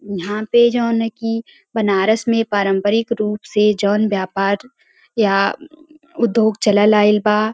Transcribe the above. यहाँ पे जौन कि बनारस में पारम्परिक रूप से जौन व्यापार या उद्योग चलल आइल बा --